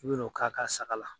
o k'a ka saga la.